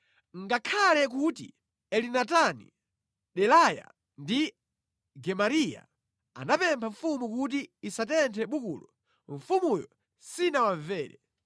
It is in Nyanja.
Ngakhale kuti Elinatani, Delaya, ndi Gemariya anapempha mfumu kuti isatenthe bukulo, mfumuyo sinawamvere.